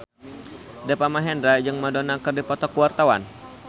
Deva Mahendra jeung Madonna keur dipoto ku wartawan